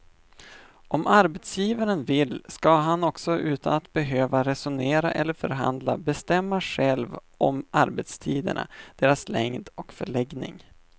Om arbetsgivaren vill ska han också utan att behöva resonera eller förhandla bestämma själv om arbetstiderna, deras längd och förläggning.